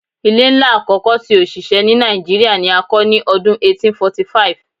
Ile nla akọkọ ti osise ni Nigeria ni a kọ ni ọdun 1845